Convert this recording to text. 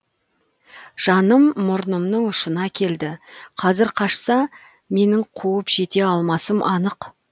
жаным мұрнымның ұшына келді қазір қашса менің қуып жете алмасым анық